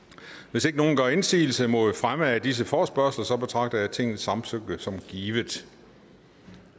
hvis ingen gør indsigelse mod fremme af disse forespørgsler betragter jeg tingets samtykke som givet